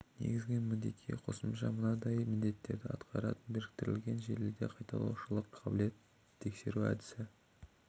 негізгі міндетке қосымша мынандай міндеттерді атқарады біріктірілген желіде қайталаушылық қабілетін тексеру әдісі